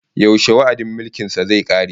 Yaushe wa'adin mulkin sa zai kare?